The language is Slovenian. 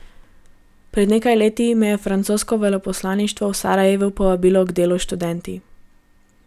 Pred nekaj leti me je francosko veleposlaništvo v Sarajevu povabilo k delu s študenti.